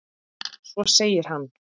Svo segir hann.